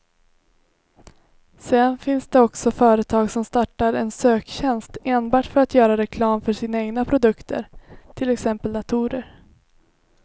Sedan finns det också företag som startar en söktjänst enbart för att göra reklam för sina egna produkter, till exempel datorer.